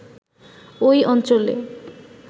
ওই অঞ্চলে